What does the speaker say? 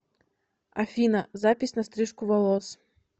афина запись на стрижку волос